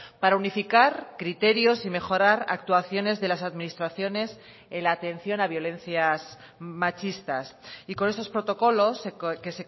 para unificar criterios y mejorar actuaciones de las administraciones en la atención a violencias machistas y con esos protocolos que